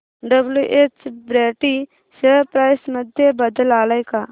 WH Brady share price मध्ये बदल आलाय का